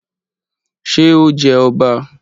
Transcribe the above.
Ṣe o jẹ ọba?